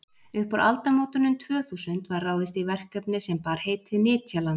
upp úr aldamótunum tvö þúsund var ráðist í verkefni sem bar heitið nytjaland